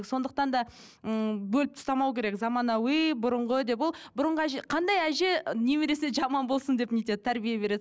сондықтан да ммм бөліп тастамау керек заманауи бұрынғы деп ол бұрынғы әже қандай әже немересіне жаман болсын деп не етеді тәрбие береді